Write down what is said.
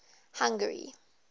hungary